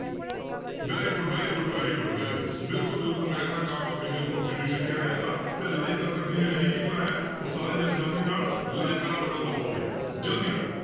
Very good, very good, very good, very good ਬਿਲਕੁਲ ਬਿਲਕੁਲ Magna Carta of Indian constitution ਕਿਹਾ ਜਾਂਦਾ, ਤੇ like ਹਾਲੇ ਤੱਕ ਜਿਹਨੇ ਨਹੀਂ ਕੀਤਾ ਹੈ, ਉਹ ਸਾਰੇ ਜਾਣੇ ਜ਼ਲਦੀ ਨਾਲ like ਵਾਲਾ button ਦਬਾਓ ਭਾਈ ਜ਼ਲਦੀ ਨਾਲ